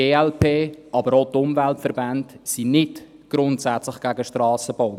Die glp, aber auch die Umweltverbände sind nicht grundsätzlich gegen Strassenbau.